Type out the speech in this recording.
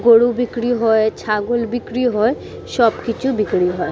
গরু বিক্রি হয় ছাগল বিক্রি হয়। সব কিছু বিক্রি হয়।